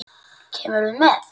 Kemurðu með?